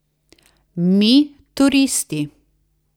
Mi, turisti.